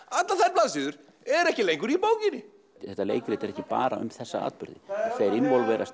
allar þær blaðsíður eru ekki lengur í bókinni þetta leikrit er ekki bara um þessa atburði þeir